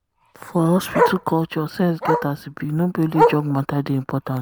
for hospital culture sense get as e be no be only drug matter dey important. dey important.